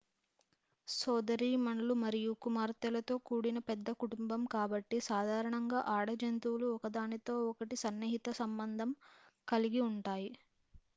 సోదరీమణులు మరియు కుమార్తెలతో కూడిన పెద్ద కుటుంబం కాబట్టి సాధారణంగా ఆడ జంతువులు ఒకదానితో ఒకటి సన్నిహిత సంబంధం కలిగి ఉంటాయి